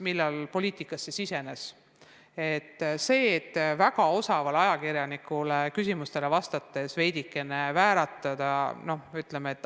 Mõtleme kõik mõned aastad tagasi ajale, millal keegi poliitikasse tuli.